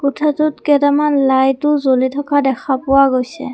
কোঠাটোত কেটামান লাইটো জ্বলি থকা দেখা পোৱা গৈছে।